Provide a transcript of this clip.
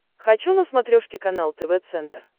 хочу на смотрешке канал тв центр